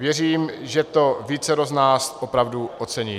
Věřím, že to vícero z nás opravdu ocení.